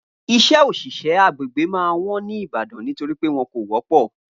iṣẹ́ oṣiṣẹ agbègbè ma wón ní ìbàdàn nítorípé wọ́n kò wọ́ pọ̀